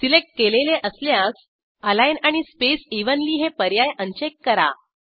select केलेले असल्यास align आणि स्पेस इव्हनली हे पर्याय अनचेक करा